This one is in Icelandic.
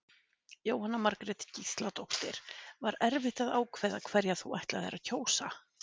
Jóhanna Margrét Gísladóttir: Var erfitt að ákveða hverja þú ætlaðir að kjósa?